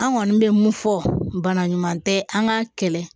An kɔni bɛ mun fɔ bana ɲuman tɛ an ka kɛlɛ